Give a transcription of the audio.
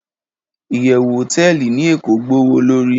iyewu hoteeli ni eko gbowolori